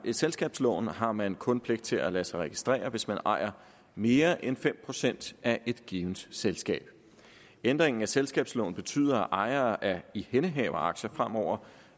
i selskabsloven har man kun pligt til at lade sig registrere hvis man ejer mere end fem procent af et givent selskab ændringen af selskabsloven betyder at ejere af ihændehaveraktier fremover